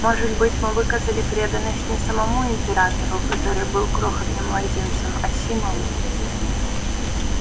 может быть мы выказали преданность не самому императору который был крохотным младенцем а символу